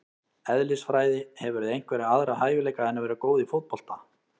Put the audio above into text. Eðlisfræði Hefurðu einhverja aðra hæfileika en að vera góð í fótbolta?